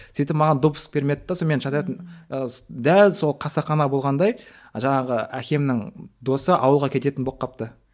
сөйтіп маған допуск бермеді де сонымен мен жататын ы дәл сол қасақана болғандай жаңағы әкемнің досы ауылға кететін болып қалыпты